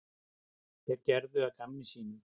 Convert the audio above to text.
Þeir gerðu að gamni sínu.